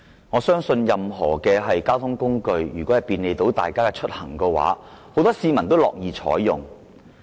我相信任何交通工具若能便利大家出行，很多市民都會樂意使用。